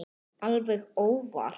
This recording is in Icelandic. Alveg óvart.